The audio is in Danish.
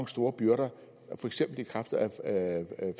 store byrder for eksempel i kraft af